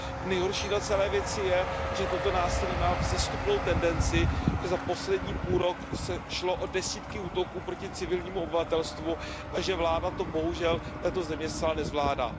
Nejhorší na celé věci je, že toto násilí má vzestupnou tendenci, že za poslední půlrok šlo o desítky útoků proti civilnímu obyvatelstvu a že vláda této země to zcela nezvládá.